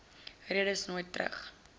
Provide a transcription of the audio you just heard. redes nooit terug